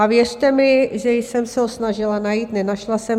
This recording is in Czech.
A věřte mi, že jsem se ho snažila najít, nenašla jsem.